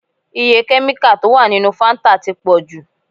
Iye kẹ́míkà tó wà nínú Fáńtà ti pọ̀ jù.